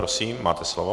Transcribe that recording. Prosím, máte slovo.